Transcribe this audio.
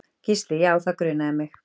Gísli: Já það grunaði mig.